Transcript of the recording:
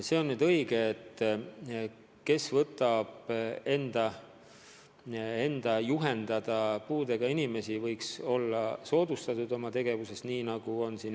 See on aga õige, et kes võtab enda juhendada puudega inimesi, võiks saada oma tegevuses soodustusi.